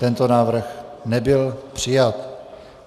Tento návrh nebyl přijat.